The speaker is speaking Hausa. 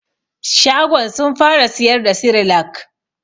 Shagon sun fara siyar da sirilak